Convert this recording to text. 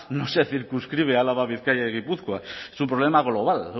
no se circunscribe a álava bizkaia y gipuzkoa es un problema global